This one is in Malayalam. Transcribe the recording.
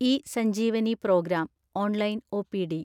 E Sanjeevani programme (online OPD)